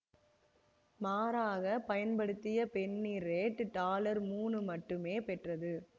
மாறாக பயன்படுத்திய penny red dollar மூனு மட்டுமே பெற்றது